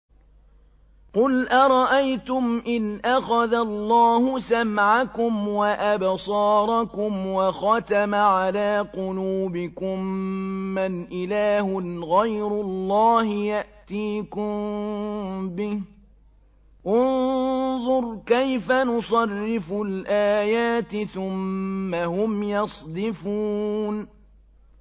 قُلْ أَرَأَيْتُمْ إِنْ أَخَذَ اللَّهُ سَمْعَكُمْ وَأَبْصَارَكُمْ وَخَتَمَ عَلَىٰ قُلُوبِكُم مَّنْ إِلَٰهٌ غَيْرُ اللَّهِ يَأْتِيكُم بِهِ ۗ انظُرْ كَيْفَ نُصَرِّفُ الْآيَاتِ ثُمَّ هُمْ يَصْدِفُونَ